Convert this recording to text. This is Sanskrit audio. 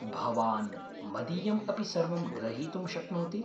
भवान् मदीयम् अपि सर्वं ग्रहीतुं शक्नोति।